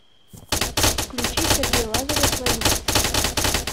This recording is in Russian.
включи сергей лазарев лови